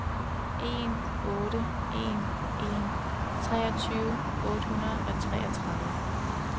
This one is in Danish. en otte en en treogtyve otte hundrede og treogtredive